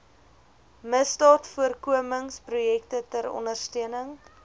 misdaadvoorkomingsprojekte ter ondersteuning